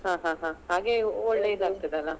ಹ ಹ ಹ ಹಾಗೆ ಒಳ್ಳೆ ಇದಾಗ್ತದಲ.